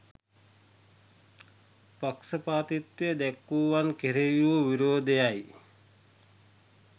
පක්ෂපාතිත්වය දැක්වූවන් කෙරෙහි වූ විරෝධය යි.